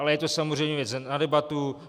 Ale je to samozřejmě věc na debatu.